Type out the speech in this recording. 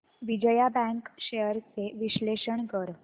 Vijaya bank shares चे विश्लेषण कर